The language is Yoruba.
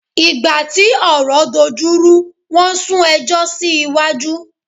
Ìgbà tí ọ̀rọ̀ dojú rú wọn sún ẹjọ́ sí iwájú.